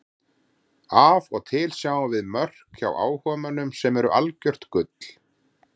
Af og til sjáum við mörk hjá áhugamönnum sem eru algjört gull.